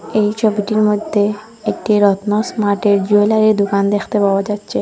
এই ছবিটির মধ্যে একটি রত্ন স্মাটের জুয়েলারি দোকান দেখতে পাওয়া যাচ্ছে।